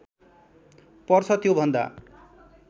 पर्छ त्यो भन्दा